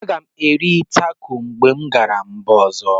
M ga-eri taco mgbe m gara mba ọzọ.